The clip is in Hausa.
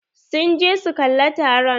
Sun je su kalla taron.